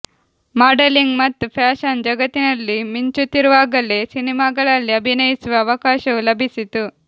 modelling ಮತ್ತು fashion ಜಗತ್ತಿನಲ್ಲಿ ಮಿಂಚುತ್ತಿರುವಾಗಲೇ ಸಿನಿಮಾಗಳಲ್ಲಿ ಅಭಿನಯಿಸುವ ಅವಕಾಶವೂ ಲಭಿಸಿತು